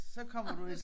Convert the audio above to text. Så kommer du jo